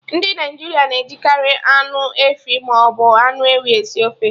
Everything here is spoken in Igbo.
Ndị Naịjirịa na-ejikari anụ efi maọbụ anụ ewu esi ofe